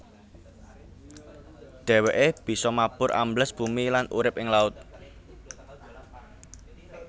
Dhèwèké bisa mabur ambles bumi lan urip ing laut